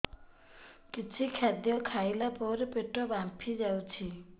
କିଛି ଖାଦ୍ୟ ଖାଇଲା ପରେ ପେଟ ଫାମ୍ପି ଯାଉଛି